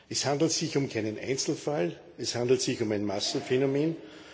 Es handelt sich um keinen Einzelfall, es handelt sich um ein Massenphänomen.